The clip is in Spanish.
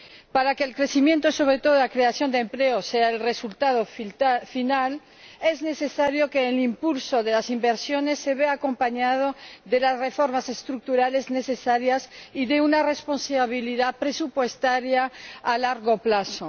Para que el crecimiento, y sobre todo, la creación de empleo, sean el resultado final, es necesario que el impulso de las inversiones se vea acompañado de las reformas estructurales necesarias y de una responsabilidad presupuestaria a largo plazo.